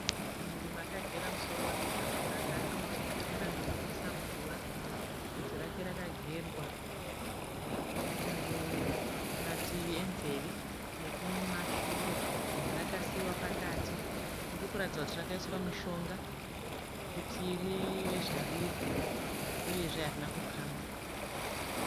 Munhurume akagera musoro wake zvakanaka. Akauchekerera zvinonwisa mvura. Bvunzi rake rakagerwa mumativi enzeve nekumashure. Rakasiiwa pakati. Riri kuratidza kuti rakaiswa mishonga kuti rive zvariri uyezve harina kukamwa.